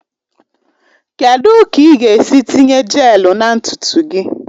Kedu ka ị ga-esi tinye jelu na ntutu gị?